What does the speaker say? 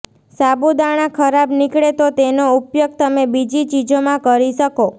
સાબુદાણા ખરાબ નીકળે તો તેનો ઉપયોગ તમે બીજી ચીજોમાં કરી શકો